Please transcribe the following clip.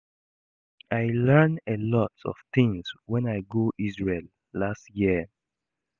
I learn a lot of things wen I go Isreal last year